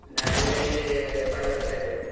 ನಾನ್ ಈಗ ಇಲ್ಲಿ ಪಳ್ಳದತ್ರ ಇದ್ದೆ.